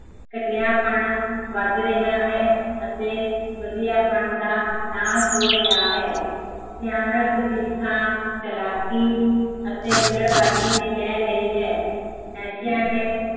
ਘਟੀਆਪਣ ਵੱਧ ਰਿਹਾ ਹੈ, ਅਤੇ ਵਧੀਆਪਣ ਦਾ ਨਾਸ਼ ਹੋ ਰਿਹਾ ਹੈ ਸਿਆਣਪ ਦੀ ਥਾਂ, ਚਲਾਕੀ ਅਤੇ ਹੁਲੜਬਾਜ਼ੀ ਨੇ ਲੈ ਲਈ ਹੈ ਨਸ਼ਿਆ ਨੇ